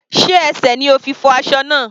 Sé ẹsẹ̀ ni o fi fọ́ aṣọ náà?